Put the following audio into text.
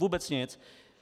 Vůbec nic.